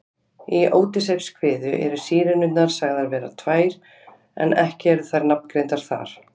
Í Ódysseifskviðu eru Sírenurnar sagðar vera tvær en ekki eru þær nafngreindar þar.